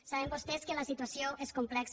saben vostès que la situació és complexa